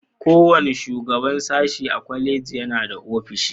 Kowane shugaban sashi a kwaleji yana da ofishi.